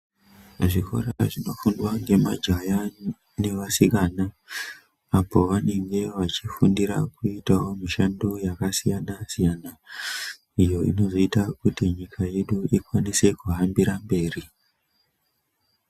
Muzvikora zvinofundwa nemajaya nevasikana apo vanenge vachifundira Kuitawo mushano yakasiyana siyana iyo inozoitawo kuti nyika yedu ikwanise kuhambira mberi.